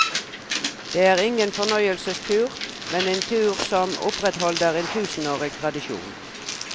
Det er ingen fornøyelsestur, men en tur som opprettholder en tusenårig tradisjon.